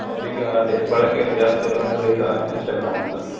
ಹೌದ ಈಗಾ ಅದೇ ಬಳಕೆಯಲ್ಲಿ ಜಾಸ್ತಿ ಇರೋದಂದ್ರೆ ಈಗಾ instagram ಅನ್ಸುತ್ತೆ.